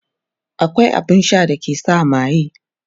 akwai abun Sha da ke sa maye